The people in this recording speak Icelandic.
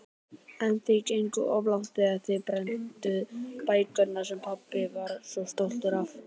En þið genguð of langt þegar þið brennduð bækurnar sem pabbi var svo stoltur af.